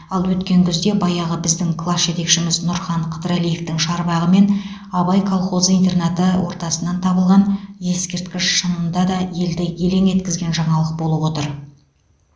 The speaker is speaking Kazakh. ал өткен күзде баяғы біздің класс жетекшіміз нұрхан қыдырәлиевтің шарбағы мен абай колхозы интернаты ортасынан табылған ескерткіш шынында да елді елең еткізген жаңалық болып отыр